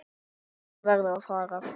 Hún verður að fara.